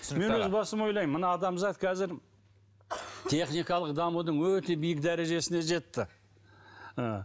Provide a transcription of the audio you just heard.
өз басым ойлаймын мына адамзат қазір техникалық дамудың өте биік дәрежесіне жетті ы